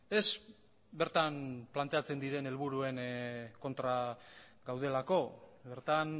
ez bertan planteatzen diren helburuen kontra gaudelako bertan